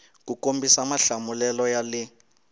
ku kombisa mahlamulelo ya le